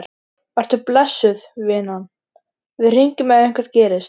Vertu blessuð, vinan, við hringjum ef eitthvað gerist.